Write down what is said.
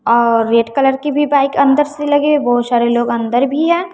और red colour की भी बाइक अंदर से लगे है बहुत सारे लोग भी हैं।